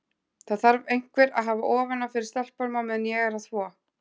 Það þarf einhver að hafa ofan af fyrir stelpunum á meðan ég er að þvo.